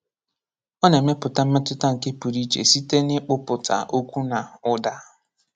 Ọ nà-èmépùtá mmétụta nke pụrụ íche site n’ịkpụpụta okwu nà ụda.